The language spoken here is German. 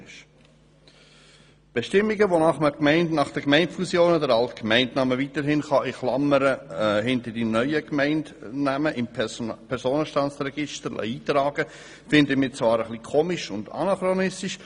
Die Bestimmungen, wonach man nach Gemeindefusionen den alten Gemeindenamen weiterhin in Klammern hinter dem neuen Gemeindenamen im Personenstandsregister eintragen lassen kann, finden wir zwar etwas merkwürdig und anachronistisch.